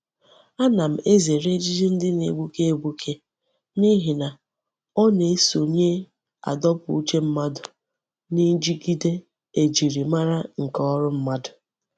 Ana m ezere ejiji ndi na-egbuke egbuke nihi na o na-esonye adopu uche mmadu nijigide e jiri mara nke órú mmadu.